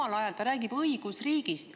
Samal ajal ta räägib õigusriigist.